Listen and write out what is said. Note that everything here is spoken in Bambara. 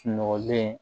Sunɔgɔlen